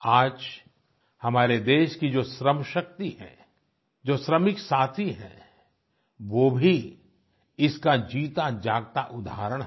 आज हमारे देश की जो श्रमशक्ति है जो श्रमिक साथी हैं वो भी इसका जीता जागता उदाहरण हैं